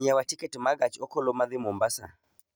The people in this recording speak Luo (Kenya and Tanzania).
nyiewa tiket ma gach okoloma dhi mombasa